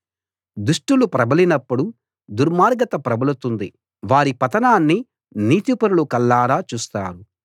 దుష్టులు ప్రబలినప్పుడు దుర్మార్గత ప్రబలుతుంది వారి పతనాన్ని నీతిపరులు కళ్లారా చూస్తారు